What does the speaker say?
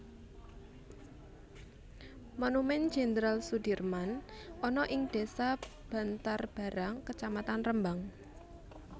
Monumen Jenderal Soedirman ana ing desa Bantarbarang kecamatan Rembang